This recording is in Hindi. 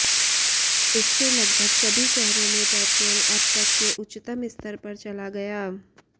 इससे लगभग सभी शहरों में पेट्रोल अब तक के उच्चतम स्तर पर चला गया